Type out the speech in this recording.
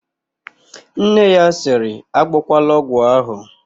Nne ya sịrị, "agbọkwala ọgwụ ahụ"!